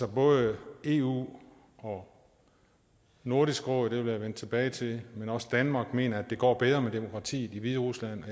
både eu og nordisk råd det vil jeg vende tilbage til men også danmark mener at det går bedre med demokratiet i hviderusland